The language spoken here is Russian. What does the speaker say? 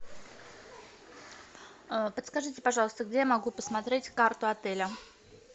подскажите пожалуйста где я могу посмотреть карту отеля